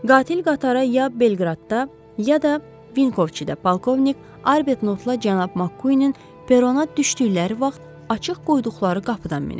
Qatil qatara ya Belqradda, ya da Vinkovçida polkovnik Arbert Norla cənab Makkuinin perona düşdükləri vaxt açıq qoyduqları qapıdan minib.